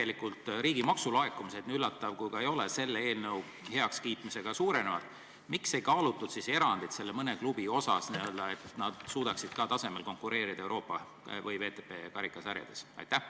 Kuna riigi maksulaekumised, nii üllatav kui ka ei ole, selle eelnõu heakskiitmisega suurenevad, siis miks ei kaalutud erandit nendele mõnele klubile, et nad suudaksid tasemel konkureerida Euroopa või VTB karikasarjades?